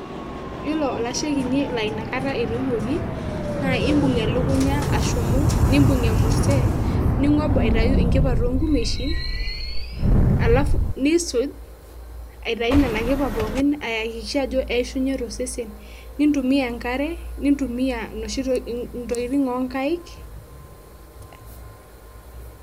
Iyiolo olashe kinyi laa ina kata etoiwoki , naa imbung' elukunya ashumu, nimbung' emurrte, ning'ob aitayu inkipa to nkumeshini, alafu nisuj aitayu nena kipa pookin aiakikisha ajo eishunye to sesen nintumia enkare, nintumia inoshi tokitin o nkaek...